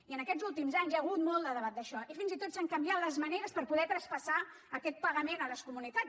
i en aquests últims anys hi ha hagut molt de debat d’això i fins i tot s’han canviat les maneres per poder traspassar aquest pagament a les comunitats